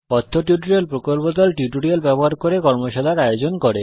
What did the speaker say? কথ্য টিউটোরিয়াল প্রকল্প দল কথ্য টিউটোরিয়াল ব্যবহার করে কর্মশালার আয়োজন করে